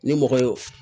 Ni mɔgɔ ye